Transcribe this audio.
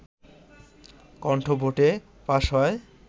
কন্ঠভোটে pass হয়